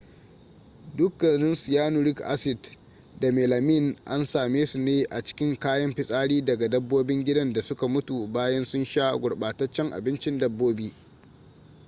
dukkanin cyanuric acid da melamine an same su ne a cikin kayan fitsari daga dabbobin gidan da suka mutu bayan sun sha gurbataccen abincin dabbobi